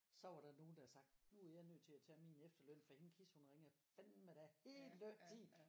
Så var der nogen der havde sagt nu er jeg nødt til at tage min efterløn for hende Kis hun ringer fandme da hele tiden